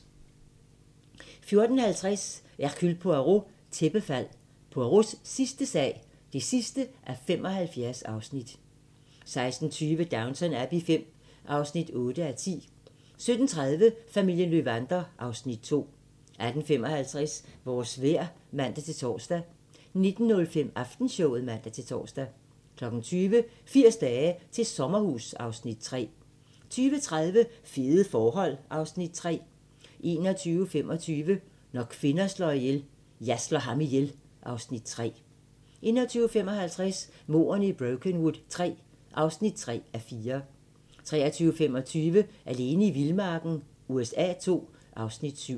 14:50: Hercule Poirot: Tæppefald – Poirots sidste sag (75:75) 16:20: Downton Abbey V (8:10) 17:30: Familien Löwander (Afs. 2) 18:55: Vores vejr (man-tor) 19:05: Aftenshowet (man-tor) 20:00: 80 dage til sommerhus (Afs. 3) 20:30: Fede forhold (Afs. 3) 21:25: Når kvinder slår ihjel - Jeg slår ham ihjel (Afs. 3) 21:55: Mordene i Brokenwood III (3:4) 23:25: Alene i vildmarken USA II (Afs. 7)